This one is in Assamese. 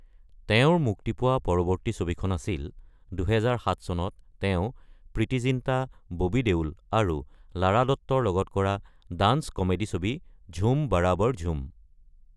তেওঁৰ মুক্তি পোৱা পৰৱৰ্তী ছবিখন আছিল ২০০৭ চনত তেওঁ প্ৰিতি জিন্টা, ববি দেওল আৰু লাৰা দত্তৰ লগত কৰা ডান্স কমেডি ছবি ঝুম বাৰাবাৰ ঝুম।